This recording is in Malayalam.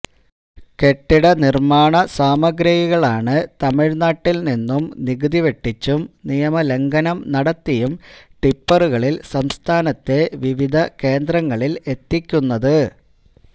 കെട്ടിട നിർമ്മാണ സാമഗ്രികളാണ് തമിഴ്നാട്ടിൽ നിന്നും നികുതി വെട്ടിച്ചും നിയമ ലംഘനം നടത്തിയും ടിപ്പുകളിൽ സംസ്ഥാനത്തെ വിവവിധ കേന്ദ്രങ്ങളിൽ എത്തിക്കുന്നത്